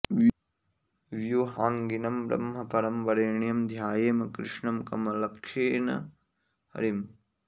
व्युहाङ्गिनं ब्रह्म परं वरेण्यं ध्यायेम कृष्णं कमलक्षेणं हरिम्